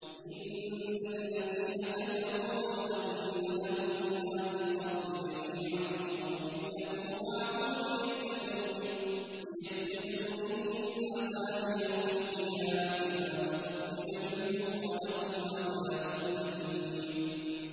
إِنَّ الَّذِينَ كَفَرُوا لَوْ أَنَّ لَهُم مَّا فِي الْأَرْضِ جَمِيعًا وَمِثْلَهُ مَعَهُ لِيَفْتَدُوا بِهِ مِنْ عَذَابِ يَوْمِ الْقِيَامَةِ مَا تُقُبِّلَ مِنْهُمْ ۖ وَلَهُمْ عَذَابٌ أَلِيمٌ